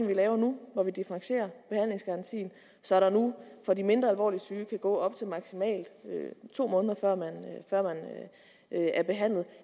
vi laver nu hvor vi differentierer behandlingsgarantien så der nu for de mindre alvorligt syge maksimalt kan gå op til to måneder før man er behandlet